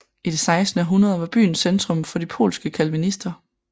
I det 16 århundrede var byen centrum for de polske calvinister